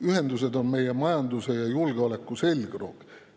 Ühendused on meie majanduse ja julgeoleku selgroog.